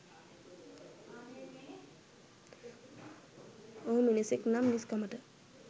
ඔහු මිනිසෙක් නම් මිනිස්කමට